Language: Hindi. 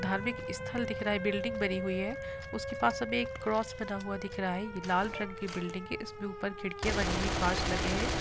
धार्मिक स्थल दिख रहा है बिल्डिंग बनी हुई है उसके पास अब एक क्रॉस बना हुआ दिख रहा है| ये लाल रंग की बिल्डिंग है इसमें ऊपर खिड़कियां बनी है कांच लगे हैं।